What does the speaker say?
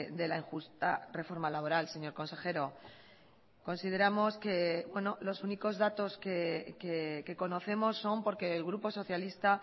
de la injusta reforma laboral señor consejero consideramos que los únicos datos que conocemos son porque el grupo socialista